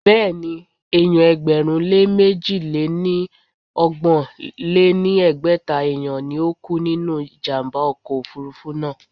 Béèni, èèyàn ẹgbẹ̀rún lé mẹ́ji lé ní ọgbọ̀n lé ní ẹgbẹ́ta èèyàn ni ó kú nínú ìjàmbá ọkọ̀ òfurufú náà.